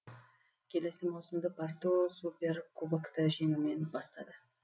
келесі маусымды порту суперкубокты жеңумен бастады